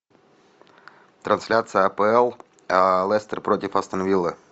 трансляция апл лестер против астон виллы